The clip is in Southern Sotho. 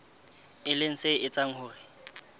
e leng se etsang hore